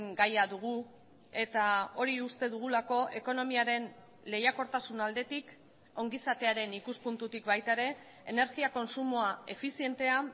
gaia dugu eta hori uste dugulako ekonomiaren lehiakortasun aldetik ongizatearen ikuspuntutik baita ere energia kontsumoa efizientea